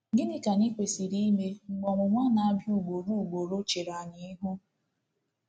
Gịnị ka anyị kwesịrị ime mgbe ọnwụnwa na-abịa ugboro ugboro chere anyị ihu?